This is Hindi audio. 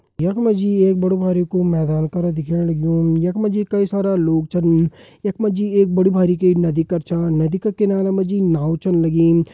यख मा जी एक बड़ु बारिकु मैदान कर दिखेण लग्युं यख मा जी कई सारा लोग छन यख मा जी एक बड़ी बारिकु नदी कर छन नदी का किनारा मा जी नाव छन लगीं।